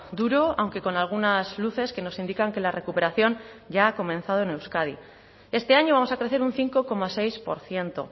duro aunque con algunas luces que nos indican que la recuperación ya ha comenzado en euskadi este año vamos a crecer un cinco coma seis por ciento